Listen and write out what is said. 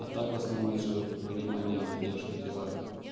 а так в основном я же говорю понимание и поддержка типо